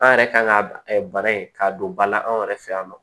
An yɛrɛ kan ka bana in k'a don ba la anw yɛrɛ fɛ yan nɔ